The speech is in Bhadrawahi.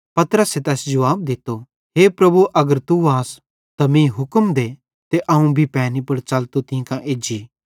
पतरसे तैस जुवाब दित्तो हे प्रभु अगर तू आस त मीं भी हुक्म दे ते अवं भी पैनी पुड़ च़लतो तीं कां एज्जी